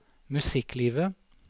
musikklivet